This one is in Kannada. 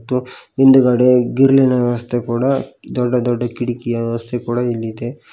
ಮತ್ತು ಹಿಂದಗಡೆ ಗ್ರಿಲ್ಲಿನ ವ್ಯವಸ್ಥೆ ಕೂಡ ದೊಡ್ಡ ದೊಡ್ಡ ಕಿಟಕಿಯ ವ್ಯವಸ್ಥೆ ಕೂಡ ಇಲ್ಲಿ ಇದೆ.